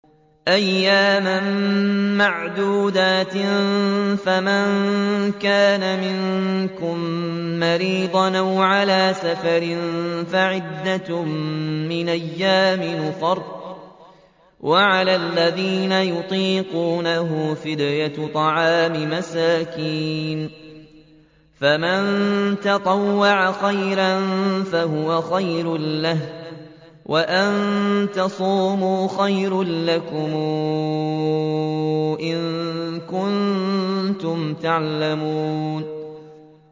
أَيَّامًا مَّعْدُودَاتٍ ۚ فَمَن كَانَ مِنكُم مَّرِيضًا أَوْ عَلَىٰ سَفَرٍ فَعِدَّةٌ مِّنْ أَيَّامٍ أُخَرَ ۚ وَعَلَى الَّذِينَ يُطِيقُونَهُ فِدْيَةٌ طَعَامُ مِسْكِينٍ ۖ فَمَن تَطَوَّعَ خَيْرًا فَهُوَ خَيْرٌ لَّهُ ۚ وَأَن تَصُومُوا خَيْرٌ لَّكُمْ ۖ إِن كُنتُمْ تَعْلَمُونَ